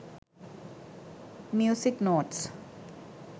music notes